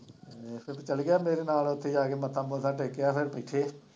ਉੱਥੇ ਚੱਲ ਗਿਆ ਮੇਰੇ ਨਾਲ ਉੱਥੇ ਜਾ ਕੇ ਮੱਥਾ ਮੁੱਥਾ ਟੇਕਿਆ ਫਿਰ ਪੁੱਛੇ।